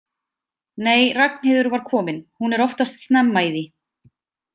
Nei, Ragnheiður var komin, hún er oftast snemma í því.